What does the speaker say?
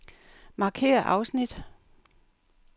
Markér afsnit.